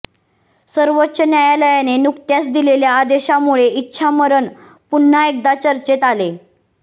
सर्वोच्च न्यायालयाने नुकत्याच दिलेल्या आदेशामुळे इच्छामरण पुन्हा एकदा चर्चेत आले